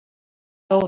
Þannig var Dóra.